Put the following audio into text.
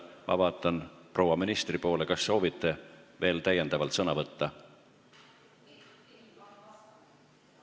Ma vaatan proua ministri poole – kas soovite veel täiendavalt sõna võtta?